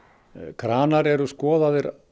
kranar eru skoðaðir